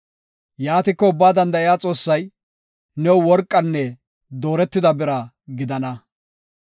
Yaatiko Ubbaa Danda7iya Xoossay, new worqanne dooretida bira gidana.